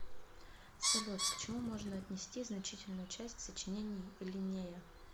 салют к чему можно отнести значительную часть сочинений линнея